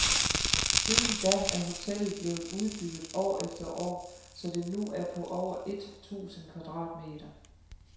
Siden da er hotellet blevet udbygget år efter år, så det nu er på over et tusind kvadratmeter.